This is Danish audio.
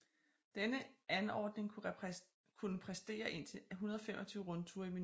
Denne anordning kunne præstere indtil 125 rundture i minuttet